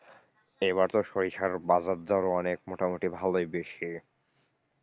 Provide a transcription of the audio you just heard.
এবছর সরিষার বাজারদরও অনেক মোটামুটি ভালোই বেশি,